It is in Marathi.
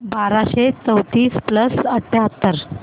बाराशे चौतीस प्लस अठ्याहत्तर